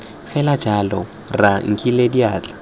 fela jalo rra nkinele diatla